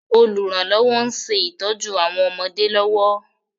Olùrànlọ́wọ́ ń ṣe ìtójú àwọn ọmọdé lọ́wọ́